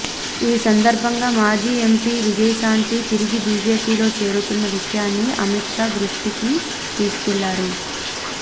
ఈ సందర్భంగా మాజీ ఎంపీ విజయశాంతి తిరిగి బీజేపీలో చేరుతున్న విషయాన్ని అమిత్ షా దృష్టికి తీసుకెళ్లారు